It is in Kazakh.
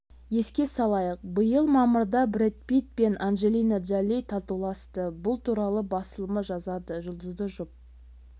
еске слайық биыл мамырда брэд питт пен анджелина джоли татуласты бұл туралы басылымы жазады жұлдызды жұп